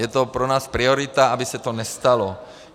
Je to pro nás priorita, aby se to nestalo.